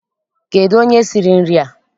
Kedụ onye siri nri a?